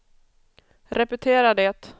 repetera det